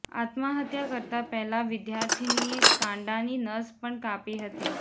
આત્મહત્યા કરતાં પહેલાં વિદ્યાર્થિનીએ કાંડાની નસ પણ કાપી હતી